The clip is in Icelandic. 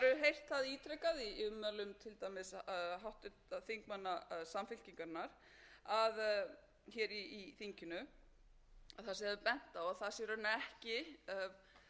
ítrekað í ummælum til dæmis háttvirtra þingmanna samfylkingarinnar að hér í þinginu þar sem það er bent á að það sé í rauninni ekki stjórnvalda eða alþingis að skapa störf heldur